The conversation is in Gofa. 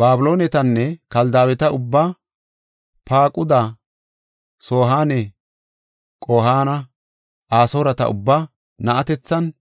Babiloonetanne Kaldaaweta ubbaa, Faaquda, Sohaane Qo7aana, Asooreta ubbaa, na7atethinne